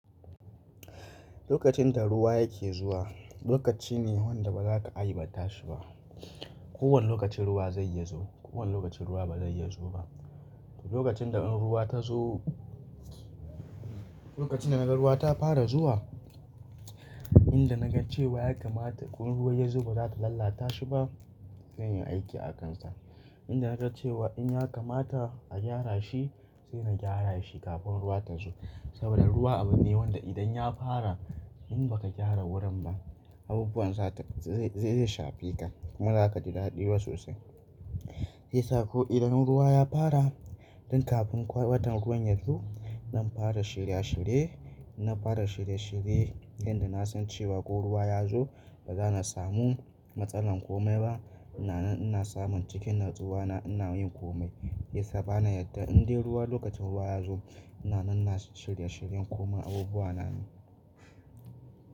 Lokacin da ruwa yake zuwa, lokaci ne wanda ba za ka aibata shi ba. Ko wane lokacin ruwa zai iya zuwa, ko wane lokacin ruwa ba zai iya zuwa ba. Lokacin da in ruwa ta zo, lokacin da na ga ruwa ta fara zuwa, in da na ga cewa ya kamata ko in ruwa ya zo ba za ta lalata shi ba, zan yi aiki a kan sa. In da na ga cewa in ya kamata a gyara shi, sai na gyara shi kafin ruwa ta zo. Saboda ruwa abu ne wanda idan ya fara, in ba ka gyara wurin ba, abubuwan za ta zai shafe ka kuma za ka ji daɗiba sosai. Mai yasa ko idan ruwa ya fara, tun kafin ƙwaiɓatan ruwan ya zo, zan fara shirye shirye. Na fara shirye shirye, inda na san cewa ko ruwa ya zo, ba za na samu matsalar komai ba. Na nan ina samun cikin natsuwa na ina yin komai. Shi yasa bana yadda in dai ruwa lokacin ruwa ya zo, ina nan na shirye shiryen koma abubuwa na ne.